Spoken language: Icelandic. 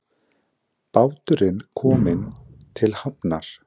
Báturinn kominn til hafnar